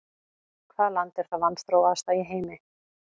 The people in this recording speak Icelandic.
Hvaða land er það vanþróaðasta í heimi?